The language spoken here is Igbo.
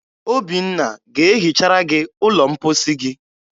Obinna ga-ehichara gị ụlọ mposi gị.